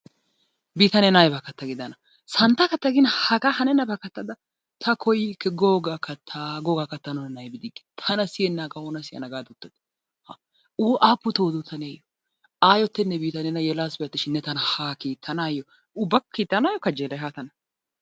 Bii ta neena ay katta giidana? Santta katta gin hagaa hanennabaa kattada ta koyikke gogaa katta googaa kattanawu nena aybbi diggi, Tana siyennagaa oona siyana gaada uttadi? Aapputtoo odoo taneeyo! Ayyotenne ta neena yelaassitenne Ubba kiittanaayo kajelay haa tana.